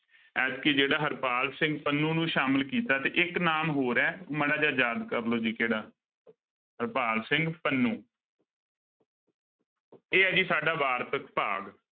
ਐਤਕੀ ਜਿਹੜਾ ਹਰਪਾਲ ਸਿੰਘ ਪੰਨੂ ਨੂੰ ਸ਼ਾਮਿਲ ਕੀਤਾ ਤੇ ਇੱਕ ਨਾਮ ਹੋਰ ਹੈ ਮਾੜਾ ਜਿਹਾ ਯਾਦ ਕਰ ਲਓ ਜੀ ਕਿਹੜਾ ਹਰਪਾਲ ਸਿੰਘ ਪੰਨੂ ਇਹ ਆ ਜੀ ਸਾਡਾ ਵਾਰਤਕ ਭਾਗ।